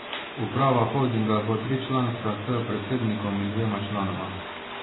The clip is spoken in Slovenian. Uprava holdinga bo tričlanska s predsednikom in dvema članoma.